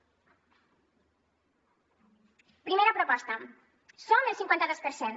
primera proposta som el cinquantados per cent